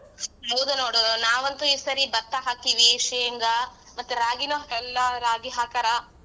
ಹೌದು ನೋಡ್ ನಾವಂತೂ ಈ ಸರಿ ಭತ್ತ ಹಾಕೀವಿ ಶೇಂಗಾ ಮತ್ತೆ ರಾಗಿನೂ ಎಲ್ಲಾ ರಾಗಿ ಹಾಕಾರ.